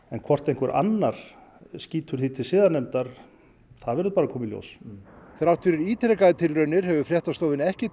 en hvort einhver annar skýtur því til siðanefndar það verður bara að koma í ljós þrátt fyrir ítrekaðar tilraunir hefur ekki